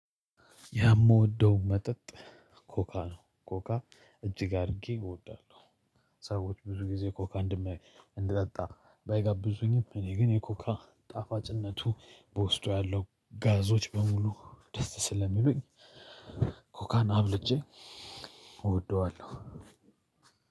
ያ የምወደው መጠጥ ኮካ ነው ኮካ እጅግ አድርጌ እወዳለሁ። ሰዎች ብዙ ጊዜ ኮካ እንድጠጣ ባይጋብዙኝም እኔ ግን የኮካ ጣፋጭነቱ በውስጡ ያለው ጋዞች በሙሉ ደስ ስለሚበይ። ኮካን አብልጬ እወደዋለሁ።